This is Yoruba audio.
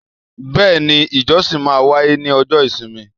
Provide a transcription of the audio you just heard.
Bẹ́ẹ̀ni, ijosin ma wa ni ọjọ́ isimi